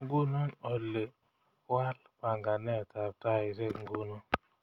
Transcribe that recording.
Nguno oli waal panganetab taishek nguno